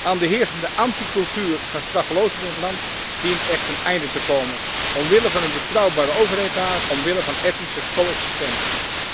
Aan de heersende anti cultuur van straffeloosheid in het land dient echt een einde te komen omwille van een betrouwbare overheid daar, omwille van etnische co existentie.